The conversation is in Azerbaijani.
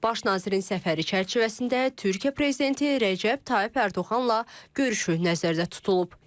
Baş nazirin səfəri çərçivəsində Türkiyə prezidenti Rəcəb Tayyip Ərdoğanla görüşü nəzərdə tutulub.